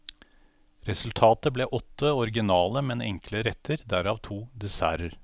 Resultatet ble åtte originale, men enkle retter, derav to desserter.